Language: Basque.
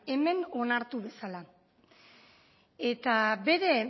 hemen onartu dezala eta bere